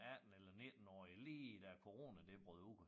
18 eller nittenårige lige da corona det brød ud